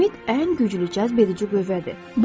Ümid ən güclü cazbedici qüvvədir.